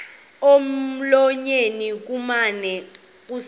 emlonyeni kumane kusithi